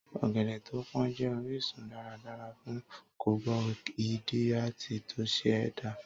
Ọ̀gẹ̀dẹ̀ tó pón jẹ́ orísun dáradára fún kabohídírátì tó ṣe é dá.